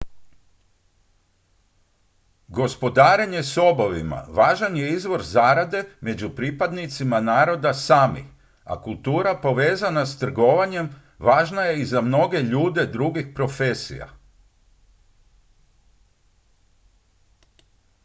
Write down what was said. gospodarenje sobovima važan je izvor zarade među pripadnicima naroda sami a kultura povezana s trgovanjem važna je i za mnoge ljude drugih profesija